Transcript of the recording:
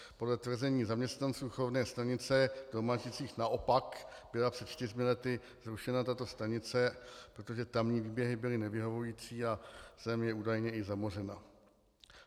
Podle tvrzení zaměstnanců chovné stanice v Domažlicích naopak byla před čtyřmi lety zrušena tato stanice, protože tamní výběhy byly nevyhovující a zem je údajně i zamořena.